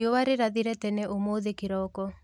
Riũa rĩrathire tene ũmũthĩ kĩroko.